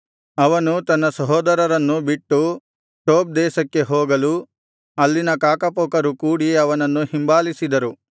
ಅವನು ತನ್ನ ಸಹೋದರರನ್ನು ಬಿಟ್ಟು ಟೋಬ್ ದೇಶಕ್ಕೆ ಹೋಗಲು ಅಲ್ಲಿನ ಕಾಕಪೋಕರು ಕೂಡಿ ಅವನನ್ನು ಹಿಂಬಾಲಿಸಿದರು